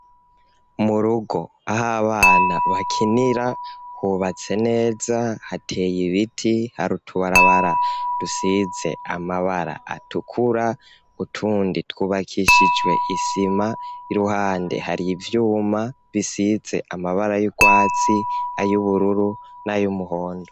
Mu rugo, aho abana bakinira hubatse neza, hateye ibiti, hari utubarabara dusize amabara atukura, utundi twubakishijwe isima, iruhande hari ivyuma bisize amabara y'urwatsi, ay'ubururu nay'umuhondo.